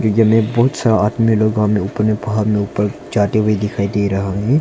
में बहुत सारा आदमी लोग वहां में ऊपर में पहाड़ में ऊपर जाते हुए दिखाई दे रहा है।